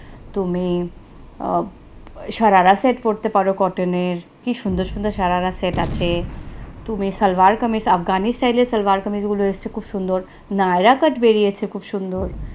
তুমি sharara set পড়তে পারো, cotton নের কি সুন্দর সুন্দর sharara set আছে তুমি সালোয়ার-কামিজ আফগানি style এ সালোয়ার-কামিজ গুলো এসেছে খুব সুন্দর naira cut বেরিয়েছে খূব সুন্দর